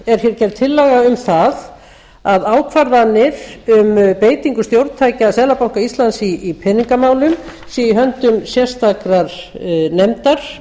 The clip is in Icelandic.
er gerð tillaga um það að ákvarðanir um beitingu stjórntækja seðlabanka íslands í peningamálum sé í höndum sérstakrar nefndar